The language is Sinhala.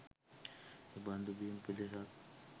එබඳු බිම් පෙදෙසක්